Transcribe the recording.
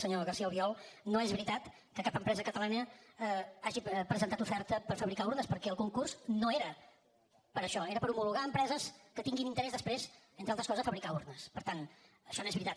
senyor garcía albiol no és veritat que cap empresa catalana hagi presentat oferta per fabricar urnes perquè el concurs no era per això era per homologar empreses que tinguin interès després entre altres coses per fabricar urnes per tant això no és veritat